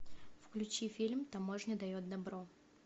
включи фильм таможня дает добро